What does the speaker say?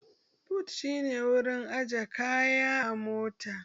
But shi ne wurin aje kaya a mota